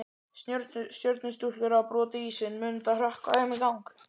Stjörnustúlkur hafa brotið ísinn, mun þetta hrökkva þeim í gang?